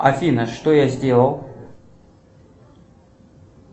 афина что я сделал